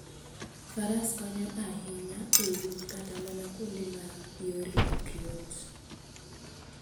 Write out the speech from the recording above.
Faras konyo ahinya e wuoth kata mana kuonde ma yore ok yot.